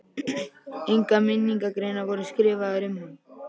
Engar minningargreinar voru skrifaðar um hann.